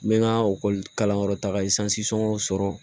N bɛ n ka kalanyɔrɔ taga sɔrɔ